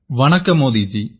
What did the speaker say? வணக்கம் மோதி ஜி